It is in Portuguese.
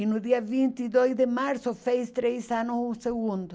E no dia vinte e dois de março, fez três anos o segundo.